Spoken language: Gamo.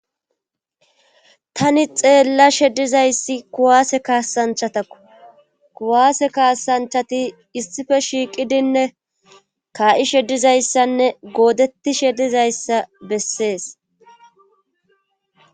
Tani xeella sheddizayssi kuwaase kaasanchatakku kuwaase kaasanchati issife shiiqidinne kaa7isheddizayssanne goodettishe dizayssa bessees